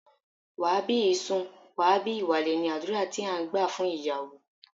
Wà á bí ìsun, wà á bí ìwàlè! ni àdúrà tí à ń gbà fún ìyàwó.